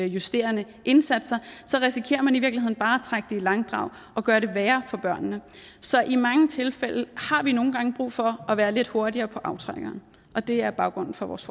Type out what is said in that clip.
justerende indsatser risikerer man i i langdrag og gøre det værre for børnene så i mange tilfælde har vi brug for at være lidt hurtigere på aftrækkeren og det er baggrunden for vores